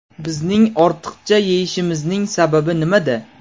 Bizning ortiqcha yeyishimizning sababi nimada?